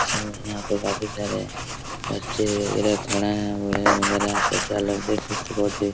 इसलिए यहाँ पर काफी सारे बच्चे वैगरह खड़ा है बूढ़े वैगरह बच्चा लोग देख सकते है बहुत ही --